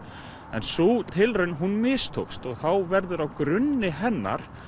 en sú tilraun hún mistókst og þá verður á grunni hennar